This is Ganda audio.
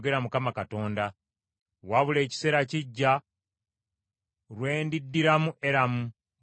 “Wabula ekiseera kijja, lwe ndiddiramu Eramu,” bw’ayogera Mukama Katonda.